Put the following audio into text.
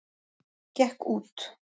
Gekk út.